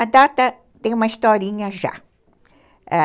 A data tem uma historinha já. Ãh...